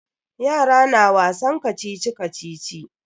Yara na wasan kacici-kacici.